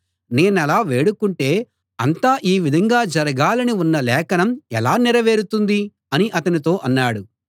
నేనలా వేడుకుంటే అంతా ఈ విధంగా జరగాలని ఉన్న లేఖనం ఎలా నెరవేరుతుంది అని అతనితో అన్నాడు